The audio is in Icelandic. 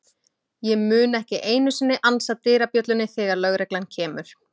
Ég mun ekki einu sinni ansa dyrabjöllunni þegar lögreglan kemur.